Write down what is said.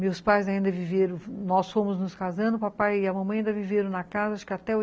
Meus pais ainda viveram, nós fomos nos casando, o papai e a mamãe ainda viveram na casa, acho que até oiten